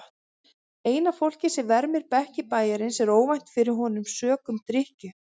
Eina fólkið sem vermir bekki bæjarins er ónæmt fyrir honum sökum drykkju.